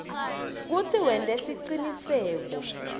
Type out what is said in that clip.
kutsi wente siciniseko